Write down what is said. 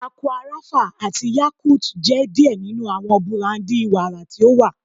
Aqua Rapha ati Yakult jẹ diẹ ninu awọn burandi wara ti o wa